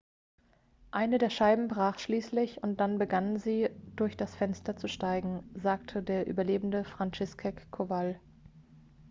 eine der scheiben brach schließlich und dann begannen sie durch das fenster zu steigen sagte der überlebende franciszek kowal